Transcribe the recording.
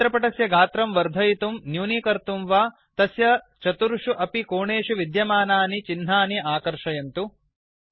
चित्रपटस्य गात्रं वर्धयितुं न्यूनीकर्तुं वा तस्य चतुर्षु अपि कोणेषु विद्यमानानि चिह्नानि आकर्षयन्तुड्र्याग्